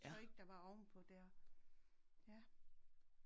Jeg tror ikke der var ovenpå dér. Ja